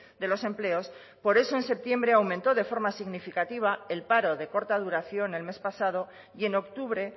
de los empleos por eso en septiembre aumentó de forma significativa el paro de corta duración el mes pasado y en octubre